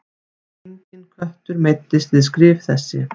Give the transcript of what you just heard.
Enginn köttur meiddist við skrif þessi.